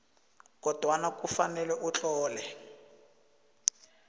kodwana kufanele utlole